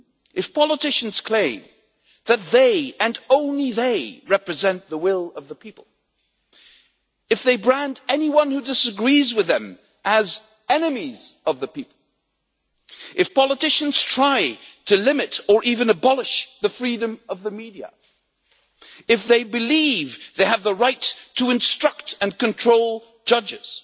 If politicians claim that they, and only they, represent the will of the people, if they brand anyone who disagrees with them as enemies of the people, if politicians try to limit, or even abolish, the freedom of the media, if they believe they have the right to instruct and control judges,